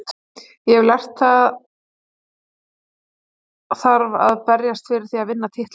Ég hef lært að það þarf að berjast fyrir því að vinna titla.